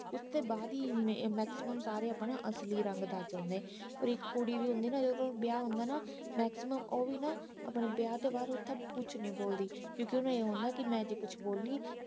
ਉਸਤੇ ਬਾਅਦ ਈ ਇਹਨੇ ਇਹਨਾਂ ਸਾਰੇ ਆਪਣਾ ਅਸਲੀ ਰੰਗ ਦਸ ਦਿੰਦੇ ਪਰ ਇਕ ਕੁੜੀ ਦੀ ਹੁੰਦੀ ਨਾ ਜਦੋ ਵਿਆਹ ਹੁੰਦਾ ਨਾ ਮੈਕਸੀਮਮ ਓਵੀ ਨਾ ਆਪਣੇ ਵਿਆਹ ਤੋਂ ਬਾਅਦ ਸਭ ਕੁਛ ਨਹੀਂ ਬੋਲਦੀ ਕਿਉਂਕਿ ਓਹਨੂੰ ਇਹ ਹੁੰਦਾ ਕੀ ਮੈ ਜੇ ਕੁਛ ਬੋਲੀ